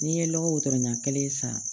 N'i ye lɔgɔ ɲɛn san